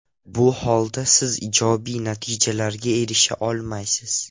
Bu holda siz ijobiy natijalarga erisha olmaysiz.